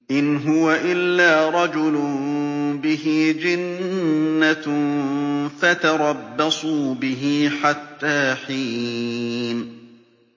إِنْ هُوَ إِلَّا رَجُلٌ بِهِ جِنَّةٌ فَتَرَبَّصُوا بِهِ حَتَّىٰ حِينٍ